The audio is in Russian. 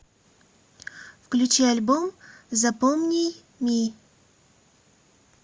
включи альбом запомни ми